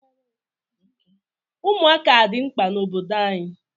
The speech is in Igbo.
Ụmụaka adị mkpa n'obodo anyị?